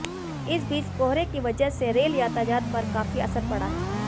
इस बीच कोहरे की वजह से रेल यातायात पर काफी असर पड़ा है